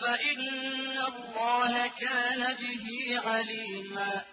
فَإِنَّ اللَّهَ كَانَ بِهِ عَلِيمًا